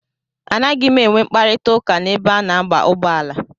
A naghị m enwe mkparita ụka n'ebe a na-aba ụgbọala.